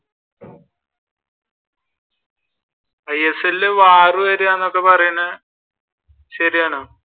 isl ഇൽ variable വരുവ എന്നൊക്കെ പാറയണ് ശരിയാല്ലേ